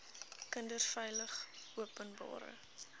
kinders veilig openbare